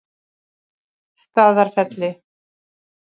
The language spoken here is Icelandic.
Staðarfelli